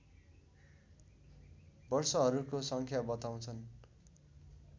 वर्षहरूको सङ्ख्या बताउँछन्